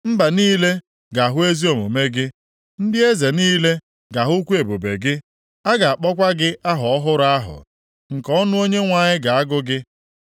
Mba niile ga-ahụ ezi omume gị. Ndị eze niile ga-ahụkwa ebube gị. A ga-akpọkwa gị aha ọhụrụ ahụ nke ọnụ Onyenwe anyị ga-agụ gị.